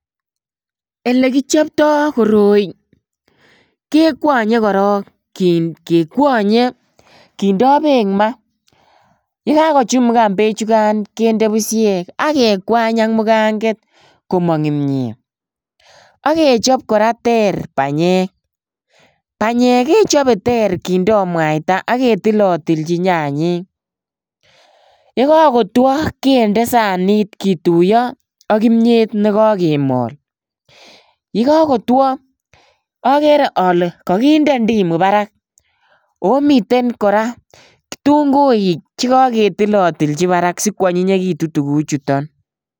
Ele kichoptoo koroi kekwonyee kora, kekwonyee kindoo beek maa. Yekakochumugan bechukan kinde busyeek ak kekwany ak muganget komong imiet. Ak kechob kora ter banyeek, banyek kechobee ter kindo mwaita, ketilatilchin nyanyik. Yekakotwo kende sanit kituyo ak kimiet nekokemol. Yekokotwo agree ale kakinde ndimu barak, komiten kora kitunguik chekoketilatilchi haram sikwonyinyekitun tuguchutok.